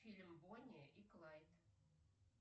фильм бонни и клайд